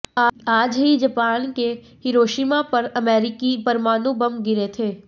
आज ही जापान के हिरोशिमा पर अमेरिकी परमाणु बम गिरे थे